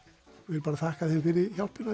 ég bara þakka þeim fyrir hjálpina